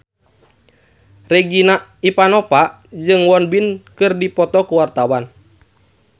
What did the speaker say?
Regina Ivanova jeung Won Bin keur dipoto ku wartawan